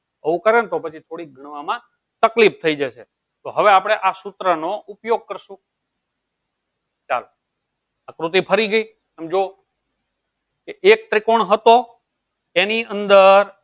બહુ કરે ને તો થોડી ગણવા માં તકલીફ થઇ જશે તો હવે આપળે આ સુત્ર નો ઉપયોગ કરશું ચાલો આકૃતિ ફરી ગયી જો કે એક ત્રિકોણ હતો જેની અંદર